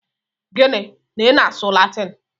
Gịnị? Na i na-asụ Latin!